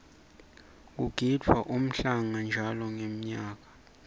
kugidvwa umhlanga njalo ngenmyaka